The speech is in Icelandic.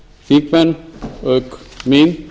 þingmenn auk mín